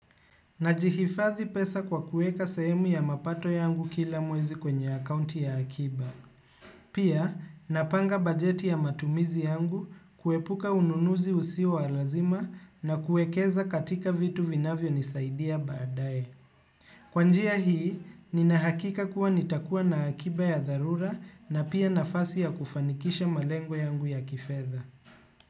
Najihifadhi pesa kwa kuweka sahemu ya mapato yangu kila mwezi kwenye akaunti ya akiba. Pia napanga bajeti ya matumizi yangu kuepuka ununuzi usio wa lazima na kuwekeza katika vitu vinavyo nisaidia baadae. Kwa njia hii, ninahakika kuwa nitakuwa na akiba ya dharura na pia nafasi ya kufanikisha malengo yangu ya kifedha.